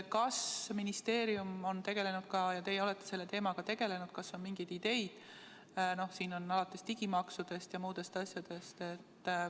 Kas ministeerium on nende teemadega tegelenud ja kas teil on mingeid ideid?